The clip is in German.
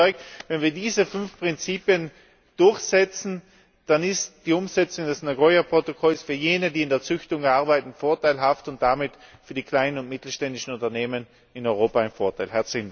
Ich bin überzeugt, wenn wir diese fünf Prinzipien durchsetzen, dann ist die Umsetzung des Nagoya Protokolls für jene, die in der Züchtung arbeiten, vorteilhaft und damit für die kleinen und mittelständischen Unternehmen in Europa von Vorteil.